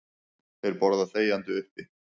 Þeir borða þegjandi uppi.